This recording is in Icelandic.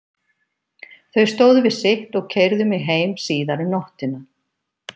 Þau stóðu við sitt og keyrðu mig heim síðar um nóttina.